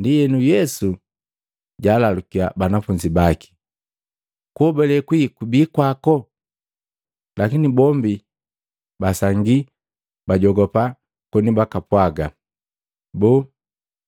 Ndienu Yesu jaalalukiya banafunzi baki, “Kuobale kwii kubi kwako?” Lakini bombi basangii, bajogopa koni bakapwaganya, “Boo!